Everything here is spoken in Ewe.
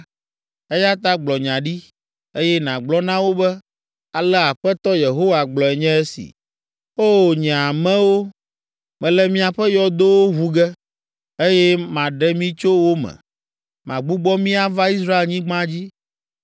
Eya ta gblɔ nya ɖi, eye nàgblɔ na wo be, ‘Ale Aƒetɔ Yehowa gblɔe nye esi: O, nye amewo, mele miaƒe yɔdowo ʋu ge, eye maɖe mi tso wo me: magbugbɔ mi ava Israelnyigba dzi.